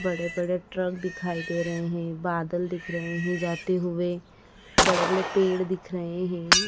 बड़े बड़े ट्रक दिखाई दे रहे हैं बादल दिख रहे हैं जाते हुए बड़े बड़े पेड़ दिख रहे हैं।